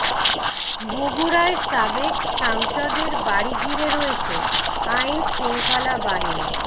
বগুড়ায় সাবেক সাংসদের বাড়ি ঘিরে রেখেছে আইন শৃঙ্খলা বাহিনী